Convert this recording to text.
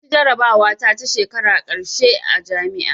Naci jarabawa ta ta shekarar ƙarshe a jami'a